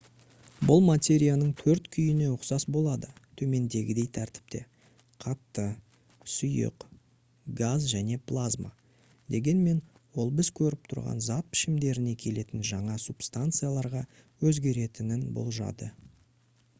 бұл материяның төрт күйіне ұқсас болды төмендегідей тәртіпте: қатты сұйық газ және плазма дегенмен ол біз көріп тұрған зат пішімдеріне келетін жаңа субстанцияларға өзгеретінін болжады